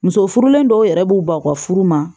Muso furulen dɔw yɛrɛ b'u ban u ka furu ma